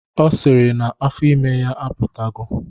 Ọ sịrị na afọ ime ya apụtago